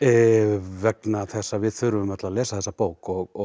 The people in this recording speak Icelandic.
vegna þess að við þurfum öll að lesa þessa bók og